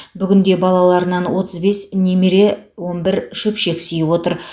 бүгінде балаларынан отыз бес немере он бір шөпшек сүйіп отыр